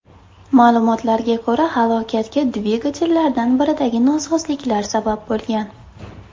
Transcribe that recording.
Ma’lumotlarga ko‘ra, halokatga dvigatellardan biridagi nosozliklar sabab bo‘lgan.